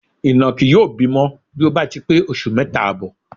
Ìnàkí yóò bímọ bí ó bá ti pé oṣù mẹ́ta àbọ̀.